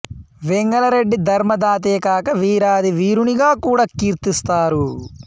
వెంగళ రెడ్డి ధర్మ దాతేకాక వీరాధి వీరునిగా కూడా కీర్తిస్తారు